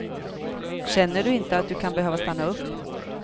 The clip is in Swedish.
Känner du inte att du kan behöva stanna upp.